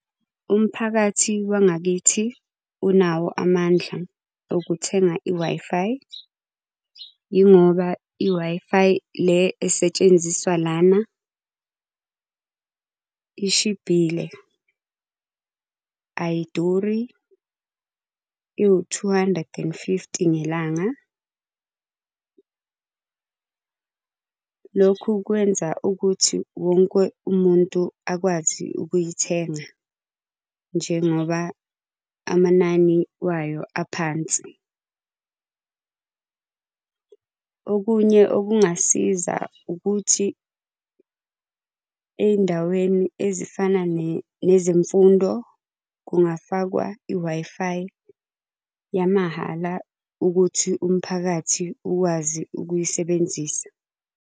Umphakathi wangakithi unawo amandla okuthenga i-Wi-Fi. Yingoba i-Wi-Fi le esetshenziswa lana ishibhile, ayiduri, iwu-two hundred and fifty ngelanga . Lokhu kwenza ukuthi wonke umuntu akwazi ukuyithenga njengoba amanani wayo aphansi. Okunye okungasiza ukuthi ey'ndaweni ezifana nezemfundo kungafakwa i-Wi-Fi yamahhala ukuthi umphakathi ukwazi ukuyisebenzisa.